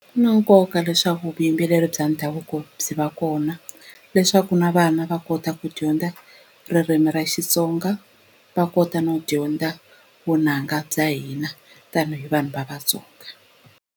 Swi na nkoka leswaku vuyimbeleri bya ndhavuko byi va kona leswaku na vana va kota ku dyondza ririmi ra Xitsonga va kota no dyondza vunanga bya hina tanihi vanhu va Vatsonga.